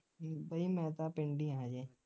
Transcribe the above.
ਬਾਈ ਮੈਂ ਤਾਂ ਪਿੰਡ ਈ ਆ ਹਜੇ